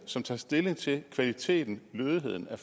som tager stilling til kvaliteten lødigheden af